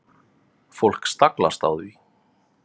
Fólk staglast á því.